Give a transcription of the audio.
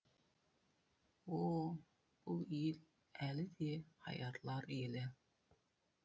о бұл ел әлі де аярлар елі